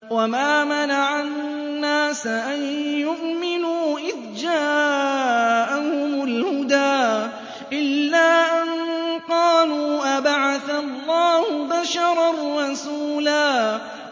وَمَا مَنَعَ النَّاسَ أَن يُؤْمِنُوا إِذْ جَاءَهُمُ الْهُدَىٰ إِلَّا أَن قَالُوا أَبَعَثَ اللَّهُ بَشَرًا رَّسُولًا